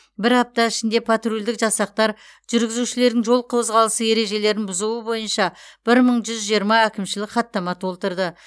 бір апта ішінде патрульдік жасақтар жүргізушілердің жол қозғалысы ережелерін бұзуы бойынша бір мың жүз жиырма әкімшілік хаттама толтырды